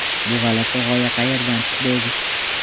Bu g‘alati g‘oya qayerdan chiqdi o‘zi?